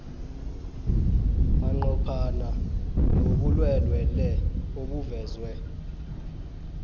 manqophana nobulwelwele obuvezwe